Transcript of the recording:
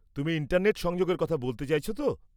তুমি ইন্টারনেট সংযোগের কথা বলতে চাইছ তো?